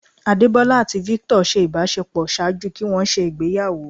Adebola ati Victor ṣe ibàṣepọ ṣaaju kí wọn ṣe ìgbéyàwó.